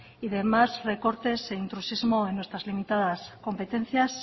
y demás recortes e intrusismo en nuestras limitadas competencias